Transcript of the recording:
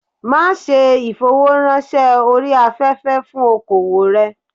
Ma a se ìfowó rán se orí afẹ́fẹ́ fún okoòwò rẹ̀